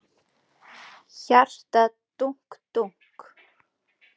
Hjartað dunk dunk.